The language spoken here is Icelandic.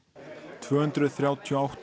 tvöhundruð þrjátíu og átta